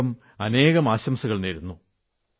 അനേകാനേകം ആശംസകൾ നേരുന്നു